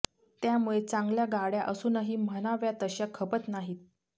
त्यामुळे चांगल्या गाड्या असूनही म्हणाव्या तश्या खपत नाहीत